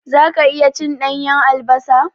Zaka iya cin ɗanyan albasa?